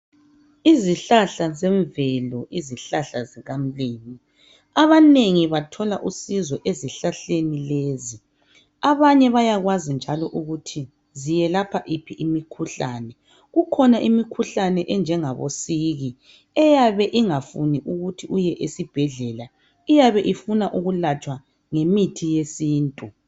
Izihlahla zemvelo izihlahla zikamlimu abanengi bathola usizo ezihlahleni lezo. Abanye bayakwazi njalo ukuthi ziyelapha iphi umkhuhlane. Kukhona imikhuhlane enjengabo siki eyabe ungafuni ukuthi uye esibhedlela iyabe ifuna ukulatshwa ngemithi yesintu.